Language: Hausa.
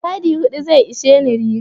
Yadi hudu zai isheni riga.